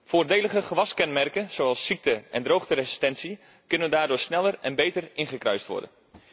Voordelige gewaskenmerken zoals ziekte en droogteresistentie kunnen daardoor sneller en beter ingekruist worden.